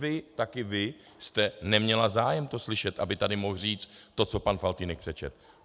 Vy, taky vy jste neměla zájem to slyšet, aby tady mohl říct to, co pan Faltýnek přečetl.